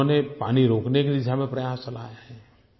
उन्होंने पानी रोकने की दिशा में प्रयास चलाया है